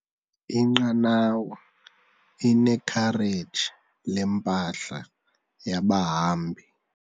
Inqanawa inekhareji lempahla yabahambi.